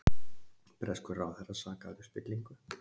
Breskur ráðherra sakaður um spillingu